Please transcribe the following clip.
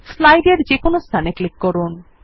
slide এর যেকোন স্থানে ক্লিক করুন